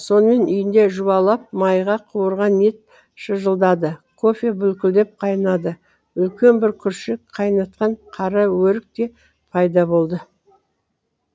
сонымен үйінде жуалап майға қуырған ет шыжылдады кофе бүлкілдеп қайнады үлкен бір күршек қайнатқан қара өрік те пайда болды